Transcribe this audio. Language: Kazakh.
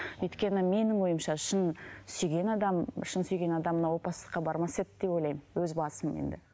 өйткені менің ойымша шын сүйген адам шын сүйген адам опасыздыққа бармас еді деп ойлаймын өз басым енді